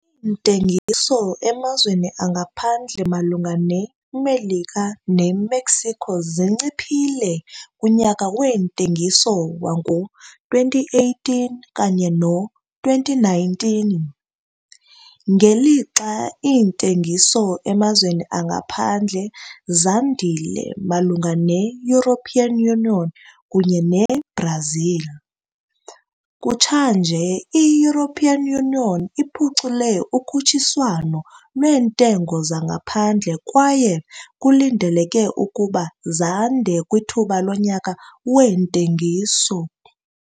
Iintengiso emazweni angaphandle malunga neMelika neMexico zinciphile kunyaka weentengiso wango-2018 okanye no-2019, ngelixa iintengiso emazweni angaphandle zandile malunga neEU kunye neBrazil. Kutshanje i-EU iphucule ukhutshiswano lweentengo zangaphandle kwaye kulindeleke ukuba zande kwithuba lonyaka weentengiso.